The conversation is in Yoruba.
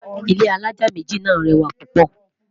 ilé alájá méjì nà rẹwa púpò